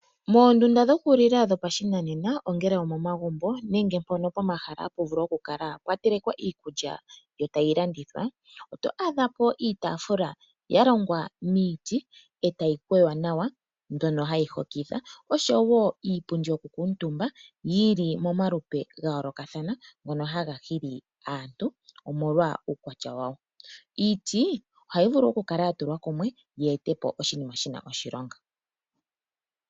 Moondunda dhokulila dhopashinanena ongele omomagumbo nenge pomahala mpono hapu telekwa iikulya tayi landithwa oto adha po iitafula ya longwa miiti etayi kweywa nawa mbyono hayi hokitha, osho wo iipundi yokukuutumba yi li momalupe ga yoolokathana ngono haga hili aantu omolwa uukwatya wawo. Iiti ohayi vulu oku kala ya tulwa kumwe yi ete po oshinima shi na oshilonga.